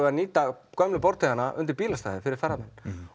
að nýta gömlu undir bílastæði fyrir ferðamenn